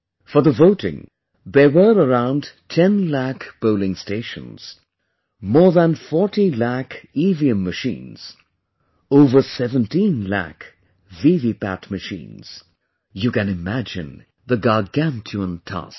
For the voting, there were around 10 lakh polling stations, more than 40 lakh EVM machines, over 17 lakh VVPAT machines... you can imagine the gargantuan task